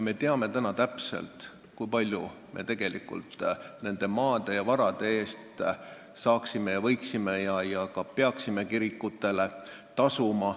Me teame täpselt, kui palju me tegelikult nende maade ja varade eest võiksime kirikutele tasuda ja ka peaksime tasuma.